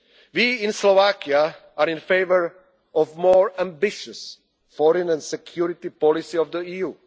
the most. We in Slovakia are in favour of a more ambitious foreign and security policy